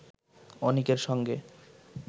অনিকের সঙ্গে